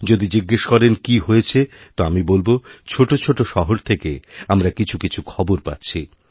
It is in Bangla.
যদি জিজ্ঞেস করেন কী হয়েছে তো আমি বলবো ছোটোছোটো শহর থেকে আমরা কিছু কিছু খবর পাচ্ছি